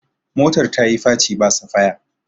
motar ta yi faci ba safaya